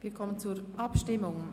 Wir kommen zur Abstimmung.